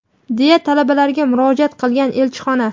deya talabalarga murojaat qilgan elchixona.